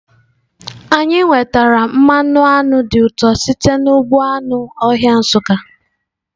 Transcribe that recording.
Anyị nwetara mmanụ aṅụ dị ụtọ site n'ugbo anụ ọhịa Nsukka.